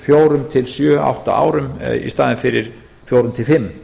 fjórum til sjö átta árum í staðinn fyrir fjórum til fimm